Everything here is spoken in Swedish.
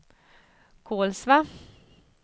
Kolsva